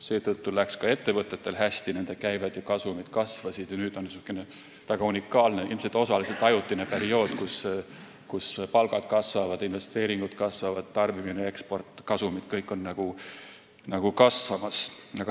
Seetõttu läks ka ettevõtetel hästi, nende käibed ja kasumid kasvasid, ning nüüd on niisugune väga unikaalne, ilmselt osaliselt ajutine periood, kus palgad kasvavad, investeeringud kasvavad, tarbimine, eksport ja kasumid, kõik on kasvamas.